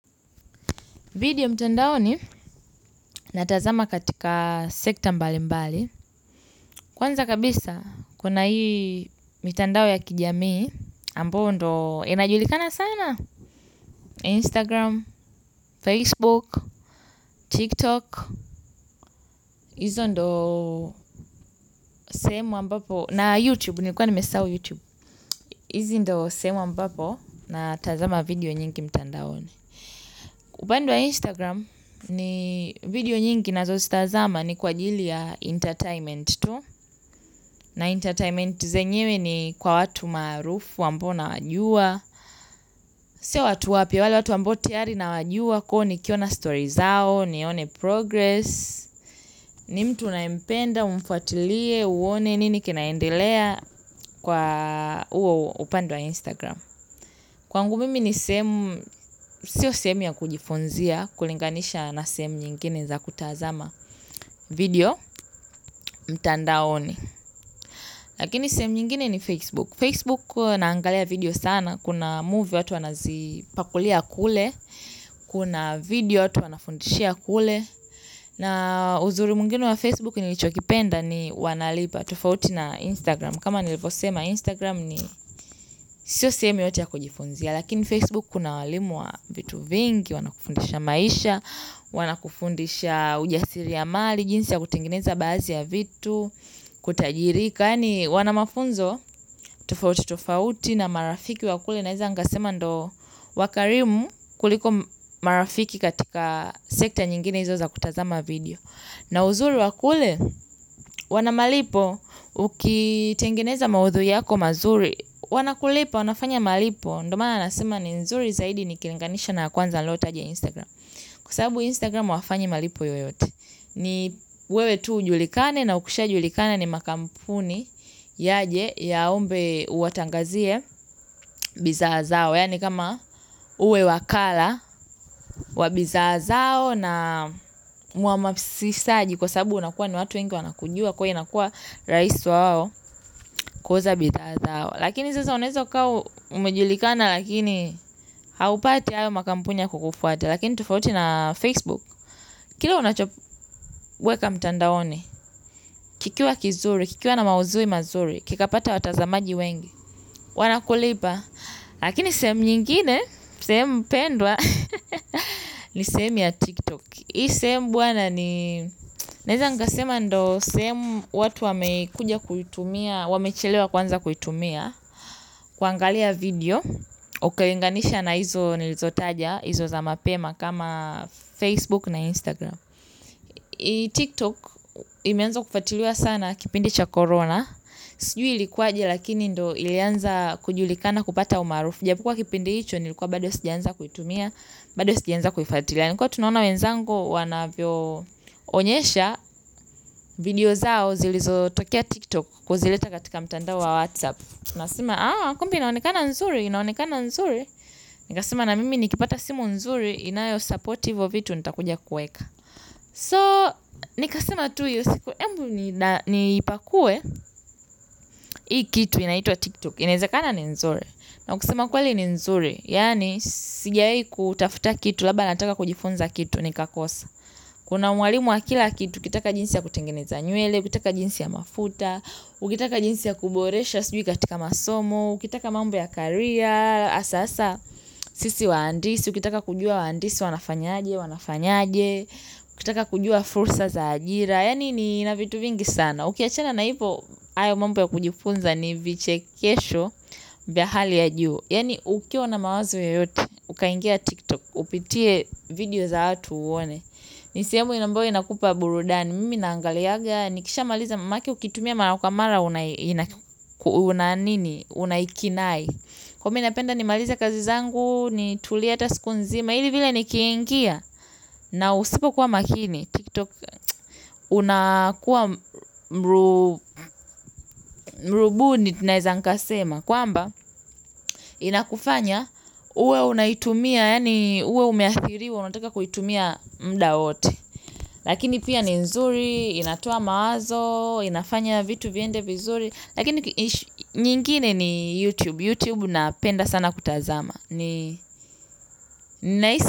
Video mtandaoni natazama katika sekta mbali mbali. Kwanza kabisa kuna hii mtandao ya kijamii ambao ndo inajulikana sana. Instagram, Facebook, TikTok, hizo ndo sehemu ambapo na YouTube nilikuwa nimesahau YouTube. Hizi ndo sehemu ambapo natazama video nyingi mtandaoni. Upande wa Instagram ni video nyingi ninazozitazama ni kwa ajili ya entertainment tu. Na entertainment zenyewe ni kwa watu maarufu ambao nawajua. Sio watu wapya wale watu ambao tayari nawajua kwa hivo nikiona stories zao, nione progress. Ni mtu unayempenda ufuatilie uone ni nini kinaendelea kwa huo upande wa Instagram. Kwangu mimi ni sehemu, sio sehemu ya kujifunzia kulinganisha na sehemu zingine za kutazama video mtandaoni. Lakini semu nyingine ni Facebook. Facebook huwa naangalia video sana. Kuna movie watu wanazipakulia kule. Kuna video watu wanafundishia kule. Na uzuri mwingine wa Facebook nilichokipenda ni wanalipa tofauti na Instagram. Kama nilivyosema Instagram ni sio sehemu yoyote ya kujifunzia. Lakini Facebook kuna walimu wa vitu vingi, wanakufundisha maisha, wanakufundisha ujasiri ya mali, jinsi ya kutengeneza baadhi ya vitu, kutajirika yaani wana mafunzo tufauti tufauti na marafiki wa kule naeza angasema ndo wakarimu kuliko marafiki katika sekta nyingine hizo za kutazama video. Na uzuri wa kule, wana malipo, ukitengeneza maudhui yako mazuri, wanakulipa, wanafanya malipo, ndo maana nasema ni nzuri zaidi nikilinganisha na ya kwanza nilotaja ya Instagram. Kwa sababu Instagram hawafanyi malipo yoyote. Ni wewe tu ujulikane na ukishajulikana ni makampuni yaje yaombe uwatangazie bidhaa zao. Yaani kama uwe wakala wa bidhaa zao na muamasishaji kwa sababu unakuwa ni watu wengu wanakujua kwa hiyo inakuwa rahisi wao kuuza bidhaa zao. Lakini sasa unaeza kuwa umejulikana lakini haupati hayo makampuni ya kukufuata. Lakini tofauti na Facebook Kile unachoweka mtandaoni. Kikia kizuri, kikiwa na maudhui mazuri kikapata watazamaji wengi wanakulipa. Lakini sehemu nyingine, sehemu pendwa. Ni sehemu ya tiktok. Hii sehemu bwana ni naiza nikasema ndo sehemu watu wamekuja kuitumia, wamechelewa kuanza kuitumia kuangalia video ukiilinganisha na hizo nilizotaja hizo za mapema kama Facebook na Instagram. Hii tiktok imeanza kufatiliwa sana kipindi cha corona sijui ilikuwaje lakini ilianza kujulikana kupata umaarufu. Jabo kuwa kipindi hicho nilikuwa bado sijaanza kuitumia bado sijaanza kuifatilia. Nilikuwa tu naona wenzangu wanavyoonyesha video zao zilizotokea tiktok kuzileta katika mtandao wa whatsapp. Nasema kumbe inaonekana nzuri, inaonekana nzuri nikasema na mimi nikipata simu nzuri inayo support hivo vitu nitakuja kuweka. So nikasema tu hiyo siku ebu niipakue hii kitu inaitwa tiktok inaezekana ni nzuri na kusema kweli ni nzuri yaani sijawahi kutafuta kitu labda nataka kujifunza kitu nikakosa kuna mwalimu wa kila kitu ukitaka jinsi ya kutengeneza nywele ukitaka jinsi ya mafuta ukitaka jinsi ya kuboresha sijui katika masomo ukitaka mambo ya career sasa sisi waandisi ukitaka kujua waandisi wanafanyaje wanafanyaje ukitaka kujua fursa za ajira yaani ni ina vitu vingi sana. Na ukiachana na hivo hayo mambo ya kujifunza ni vichekesho vya hali ya juu. Yaani ukiwa na mawazo yoyote, ukaingia TikTok, upitie video za watu uone. Ni sehemu ambayo inakupa burudani. Mimi naangalianga nikishamaliza manake ukiitumia mara mingi unaikinai. Kwa hivo mi napenda nimalize kazi zangu, nitulie hata siku nzima, ili vile nikiingia, na usipokuwa makini. TikTok unakuwa mrubuni naeza nikasema. Kwamba inakufanya uwe unaitumia yaani uwe umeathiriwa unataka kuitumia muda wote. Lakini pia ni nzuri, inatoa mawazo, inafanya vitu viende vizuri. Lakini nyingine ni YouTube, YouTube napenda sana kutazama. Ni nahisi.